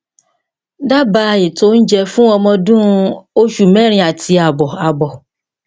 daba ètò oúnjẹ fún ọmọ ọdún osu mẹrin àti àbọ àbọ